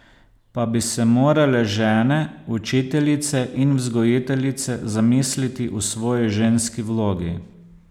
Pa bi se morale žene, učiteljice in vzgojiteljice zamisliti o svoji ženski vlogi.